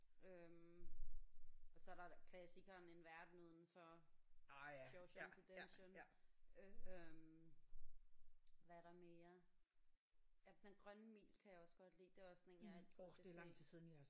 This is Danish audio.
Øh og så er der klassikeren en verden udenfor. Shawshank Redemption øh hvad er der mere. Ja Den grønne mil kan jeg også godt lide det er også sådan en jeg altid kan se